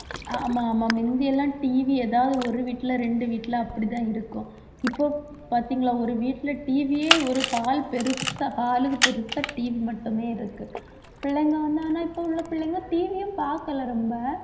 ஆமா ஆமா முந்தியெல்லாம் TV ஏதாவது ஒரு வீட்டுல ரெண்டு வீட்டுல அப்படிதான் இருக்கும் இப்போ பாத்தீங்களா ஒரு வீட்டிலே TV யே ஒரு hall பெருசா hall க்கு பெருசா TV மட்டுமே இருக்கு. பிள்ளைங்க வந்து ஆனா இப்போ உள்ள பிள்ளைங்க TV யும் பார்க்கலை ரொம்ப